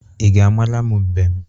Ị ga-amara m mbem?